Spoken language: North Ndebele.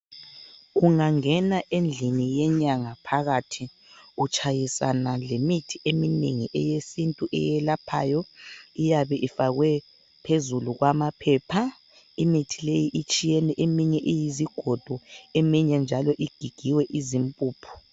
Ungangena endlini yenyanga phakathi utshayisana lemithi eminengi eyesintu eyelaphayo iyabe ifakwe phezulu kwamaphepha, imithi leyi itshiyene eminye iyizigodo eminye njalo igigiwe izimpuphu.